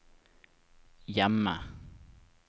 hjemme